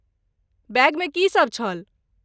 बैगमे की सभ छल?